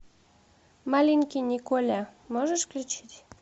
маленький николя можешь включить